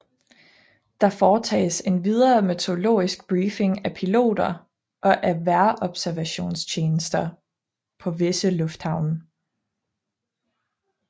Der foretages endvidere meteorologisk briefing af piloter og af vejrobservationstjenester på visse lufthavne